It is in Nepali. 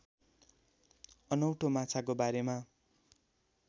अनौठो माछाको बारेमा